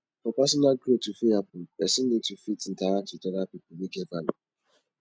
for personal growth to fit happen person need to fit interact with oda pipo wey get value